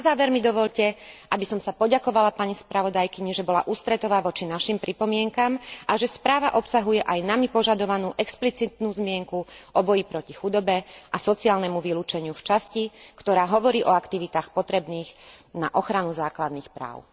Na záver mi dovoľte, aby som sa poďakovala pani spravodajkyni, že bola ústretová voči našim pripomienkam a že správa obsahuje aj nami požadovanú explicitnú zmienku o boji proti chudobe a sociálnemu vylúčeniu v časti, ktorá hovorí o aktivitách potrebných na ochranu základných práv.